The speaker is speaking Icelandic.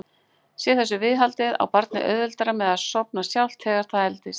Sé þessu viðhaldið á barnið auðveldara með að sofna sjálft þegar það eldist.